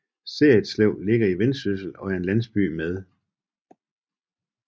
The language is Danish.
Serritslev ligger i Vendsyssel og er en landsby med